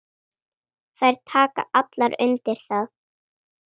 Þær taka allar undir það.